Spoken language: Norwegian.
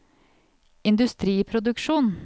industriproduksjon